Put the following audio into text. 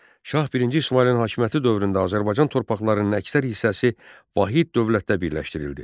Şah birinci İsmayılın hakimiyyəti dövründə Azərbaycan torpaqlarının əksər hissəsi vahid dövlətdə birləşdirildi.